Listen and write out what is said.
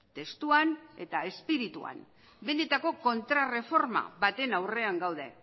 testuan eta espirituan benetako kontraerreforma baten aurrean gaude